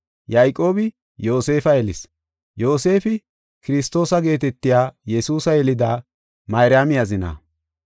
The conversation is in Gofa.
Yayqoobi Yoosefa yelis; Yoosefi Kiristoosa geetetiya Yesuusa yelida Mayraami azina.